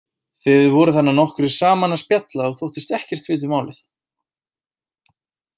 Þið voruð þarna nokkrir saman að spjalla og þóttust ekkert vita um málið.